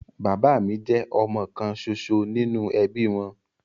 Bàbá mi jẹ́ ọmọ kan ṣoṣo nínú ẹbí wọn